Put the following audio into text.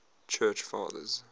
church fathers